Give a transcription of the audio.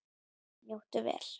Njóttu vel.